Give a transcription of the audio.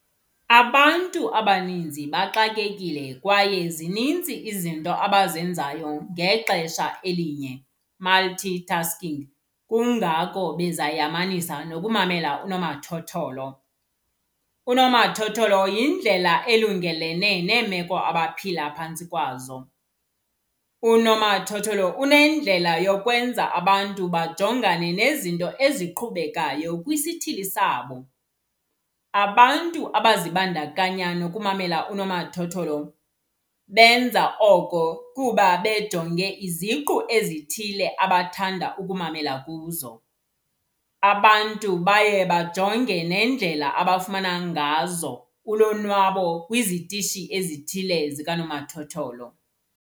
Abantu abaninzi baxakekile kwaye zinintsi izinto abazenzayo ngexesha elinye, multitasking kungako beza yamanisa nokumamela unomathotholo. Unomathotholo yindlela elungelene neemeko abaphila phantsi kwazo. Unomathotholo unendlela yokwenza abantu bajongane nezinto eziqhubekayo kwisithili sabo. Abantu abazibandakanya nokumamela unomathotholo benza oko kuba bejonge iziqu ezithile abathanda ukumamela kuzo. Abantu baye bajonge nendlela abafumana ngazo ulonwabo kwizitishi ezithile zikanomathotholo.